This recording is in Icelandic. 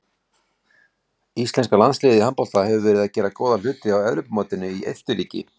Íslenska landsliðið í handbolta hefur verið að gera góða hluti á Evrópumótinu í Austurríki.